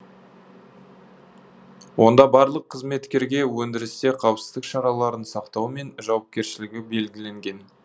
онда барлық қызметкерге өндірісте қауіпсіздік шараларын сақтау мен жауапкершілігі белгіленген